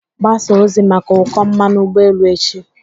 Gbasaa ozi maka ụkọ mmanụ ụgbọ elu echi.